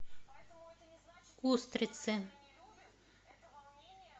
устрицы